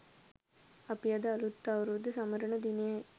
අපි අද අලුත් අවුරුද්ද සමරන දිනයයි.